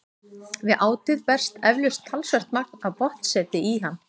Við átið berst eflaust talsvert magn af botnseti í hann.